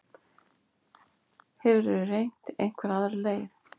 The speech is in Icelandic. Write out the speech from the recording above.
Hefurðu reynt einhverja aðra leið?